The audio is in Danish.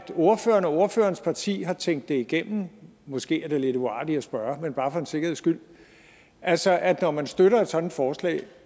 ordføreren og ordførerens parti har tænkt det igennem måske er det lidt uartigt at spørge men bare for en sikkerheds skyld altså at når man støtter et sådant forslag